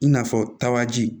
I n'a fɔ tabaji